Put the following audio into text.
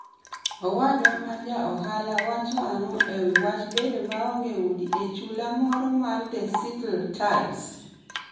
Owadwa moro ma ja ohala wacho ang'o e wi wach bedo maonge udi e sula moro mar The Seattle Times?